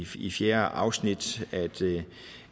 fjerde afsnit